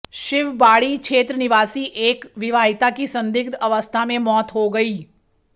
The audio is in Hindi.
शिवबाड़ी क्षेत्र निवासी एक विवाहिता की संदिग्ध अवस्था में मौत हो गई